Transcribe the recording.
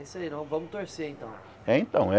É isso aí, nós vamos torcer, então. É então é